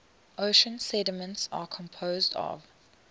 ocean sediments are composed of